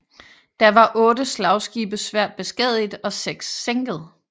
Da var otte slagskibe svært beskadiget og seks sænket